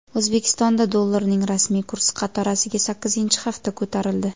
O‘zbekistonda dollarning rasmiy kursi qatorasiga sakkizinchi hafta ko‘tarildi.